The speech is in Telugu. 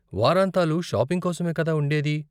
వారాంతాలు షాపింగ్ కోసమే కదా ఉండేది!